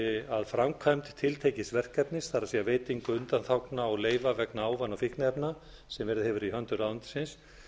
að framkvæmd tiltekins verkefnis það er veitingu undanþágna og leyfa vegna ávana og fíkniefna sem verið hefur í höndum ráðuneytisins